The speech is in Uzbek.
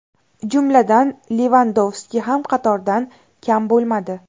Jumladan, Levandovski ham qatordan kam bo‘lmadi.